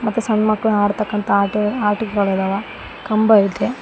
ಮತ್ತು ಸಣ್ ಮಕ್ಕಳ ಆಡ್ತಕಾಂತ ಆಟೆ ಆಟಿಕೆಗಳಿದವ ಕಂಬ ಇದೆ.